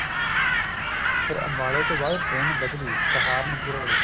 ਫਿਰ ਅੰਬਾਲੇ ਤੋਂ ਬਾਅਦ train ਬਦਲੀ ਸਹਾਰਨਪੁਰ ਵਾਲੀ